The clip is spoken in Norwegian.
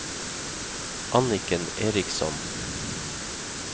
Anniken Eriksson